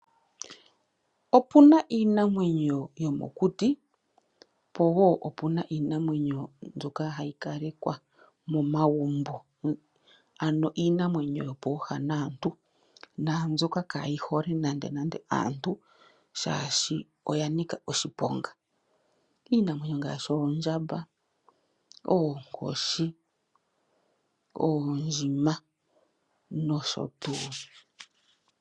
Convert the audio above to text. Opuna iinamwenyo yomokuti po wo opuna iinamwenyo mbyoka hayi kalekwa momagumbo ano iinamwenyo yopooha naantu naambyoka kaayi hole nande nande aantu shaashi oya nika oshiponga . Iinamwenyo ngaashi oondjamba, oonkoshi, oondjima nosho tuu.